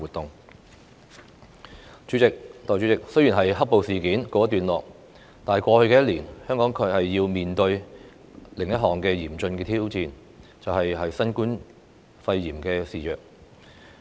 代理主席，雖然"黑暴"事件告一段落，但在過去一年，香港卻要面對另一項嚴峻的挑戰：新冠肺炎肆虐。